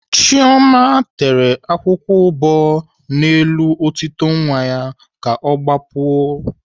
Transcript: Chioma tere akwụkwọ ụbọ n'elu otito nwa ya ka ọ gbapuo